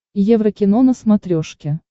еврокино на смотрешке